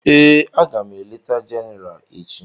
Èè, aga m eleta Jenéral echi